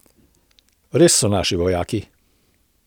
Res so naši vojaki.